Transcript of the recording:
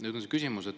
Nüüd mu küsimus.